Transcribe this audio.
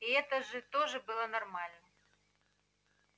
и это же тоже было нормально